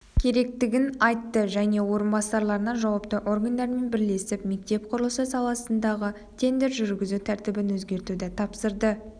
керектігін айтты және орынбасарларына жауапты органдармен бірлесіп мектеп құрылысы саласындағы тендер жүргізу тәртібін өзгертуді тапсырды